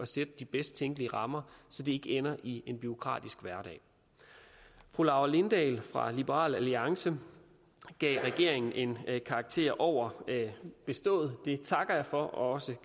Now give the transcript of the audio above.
sætte de bedst tænkelige rammer så det ikke ender i en bureaukratisk hverdag fru laura lindahl fra liberal alliance gav regeringen en karakter over bestået det takker jeg for og